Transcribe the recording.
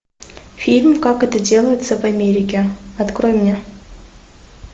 фильм как это делается в америке открой мне